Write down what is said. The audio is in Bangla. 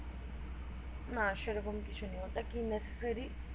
না সে রকম কিছু নেই ওটা necessary